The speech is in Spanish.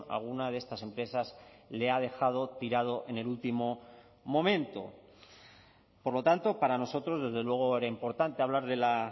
alguna de estas empresas le ha dejado tirado en el último momento por lo tanto para nosotros desde luego era importante hablar de la